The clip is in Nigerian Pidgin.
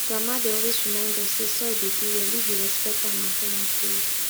grandma dey always remind us say soil dey do well if you respect am and tell am story